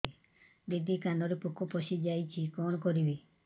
ଦିଦି କାନରେ ପୋକ ପଶିଯାଇଛି କଣ କରିଵି